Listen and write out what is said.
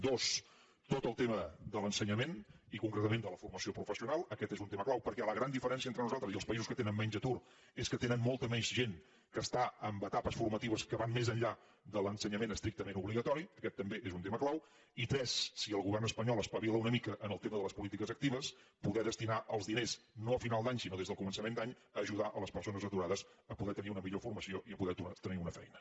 dos tot el tema de l’ensenyament i concretament de la formació professional aquest és un tema clau perquè la gran diferència entre nosaltres i els països que tenen menys atur és que tenen molta més gent que està en etapes formatives que van més enllà de l’ensenyament estrictament obligatori aquest també és un tema clau i tres si el govern espanyol espavila una mica en el tema de les polítiques actives poder destinar els diners no a final d’any sinó a començament d’any a ajudar les persones aturades a poder tenir una millor formació i a poder tornar a tenir una feina